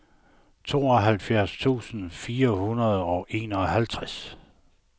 tooghalvfjerds tusind fire hundrede og enoghalvtreds